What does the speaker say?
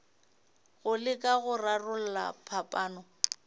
go leka go rarolla phapano